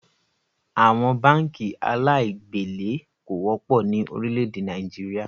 Àwọn báànkì aláì gbèlé kò wọ́pọ̀ ni Orílẹ̀ èdè Nàìjíríà